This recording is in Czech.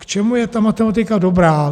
K čemu je ta matematika dobrá.